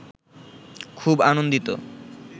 খুব আনন্দিত